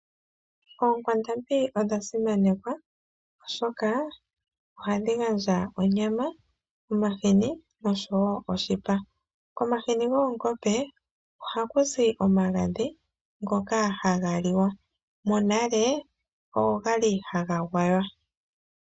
Oonkwandambi odha simanekwa oshoka ohadhi gandja onyama, omahini noshipa. Omahini goongombe ohaku zi omagadhi ngoka haga liwa monale ogali haga gwaywa.